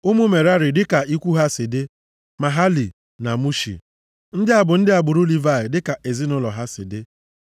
Ụmụ Merari dịka ikwu ha si dị: Mahali na Mushi. Ndị a bụ ndị agbụrụ Livayị, dịka ezinaụlọ ha si dị.